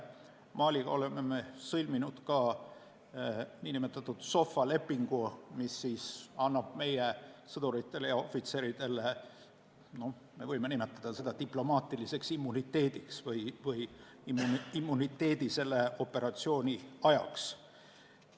Maliga oleme me sõlminud ka SOFA lepingu, mis annab meie sõduritele ja ohvitseridele n-ö diplomaatilise immuniteedi või immuniteedi selle operatsiooni ajaks.